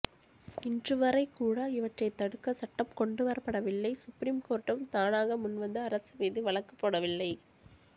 இன்றுவரை கூட இவற்ற்றை தடுக்க சட்டம் கொண்டுவரப்படவில்லை சுப்ரீம் கோர்ட்டும் தானாக முன் வந்து அரசு மீது வழக்கு போடவில்லை